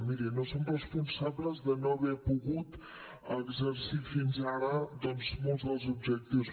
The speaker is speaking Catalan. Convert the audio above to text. miri no som responsables de no haver pogut exercir fins ara doncs molts dels objectius